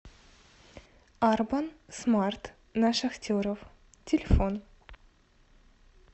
арбан смарт на шахтеров телефон